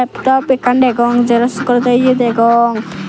laptop ekkan degong xerox gorede eya degong.